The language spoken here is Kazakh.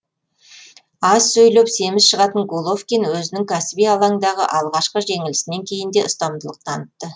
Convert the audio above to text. аз сөйлеп семіз шығатын головкин өзінің кәсіби алаңдағы алғашқы жеңілісінен кейін де ұстамдылық танытты